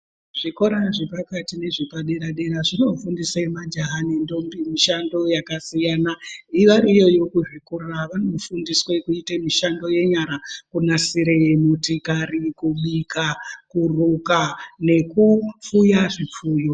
Zvikora zvepakati nezvepadere-dera zvinofundise majaha nendombi mishando yakasiyana. Vari iyoyo kuzvikora vanofundiswe kuite mishando yenyara kunasire motikari, kubika, kuruka nekupfuya zvipfuyo,